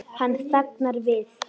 Hann þagnar við.